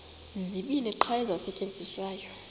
zibini qha ezisasetyenziswayo